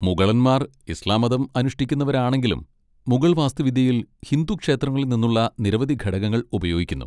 മുഗളന്മാർ ഇസ്ലാം മതം അനുഷ്ഠിക്കുന്നവരാണെങ്കിലും, മുഗൾ വാസ്തുവിദ്യയിൽ ഹിന്ദു ക്ഷേത്രങ്ങളിൽ നിന്നുള്ള നിരവധി ഘടകങ്ങൾ ഉപയോഗിക്കുന്നു.